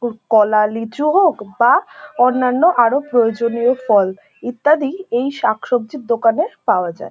কলা লিচু হোক বা অন্যান্য আরও প্রয়োজনীয় ফল ইত্যাদি এই শাকসবজির দোকানে পাওয়া যায়।